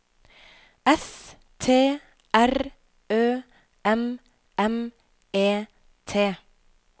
S T R Ø M M E T